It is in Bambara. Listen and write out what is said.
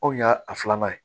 Anw y'a a filanan ye